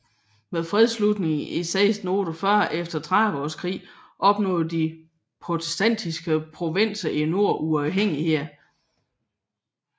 Med fredsslutningen i 1648 efter Trediveårskrigen opnåede de protestantiske provinser i nord uafhængighed